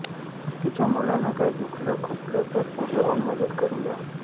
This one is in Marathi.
तिच्या मुलांना काही दुखलं खुपलं तर पुढे होऊन मदत करूया